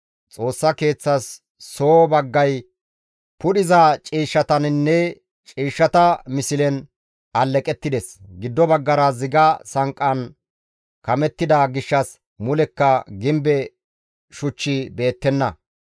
Xoossa Keeththas soo baggay pudhiza ciishshataninne ciishshata mislen aleqettides; giddo baggara ziga sanqqan kamettida gishshas mulekka gimbe shuchchi beettenna.